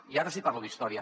i ara sí que parlo d’història